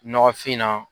Nɔgɔfin na